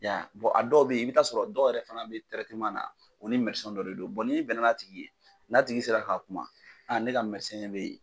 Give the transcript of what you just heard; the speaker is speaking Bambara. a dɔw bɛyen i bɛ taa sɔrɔ a dɔw yɛrɛ fana bɛ na o ni dɔ de don n'i bɛnna n'a tigi ye n'a tigi sera ka kuma a ne ka de bɛ yen